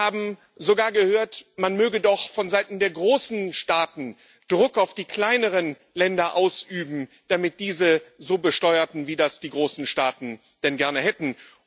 Wir haben sogar gehört, man möge doch von Seiten der großen Staaten Druck auf die kleineren Länder ausüben, damit diese so besteuerten, wie das die großen Staaten denn gerne hätten.